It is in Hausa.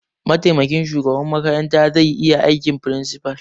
Mataimakin shugaban makarantar zai iya aikin principal.